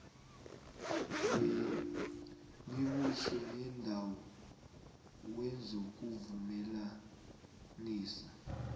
wemibuso yeendawo wezokuvumelanisa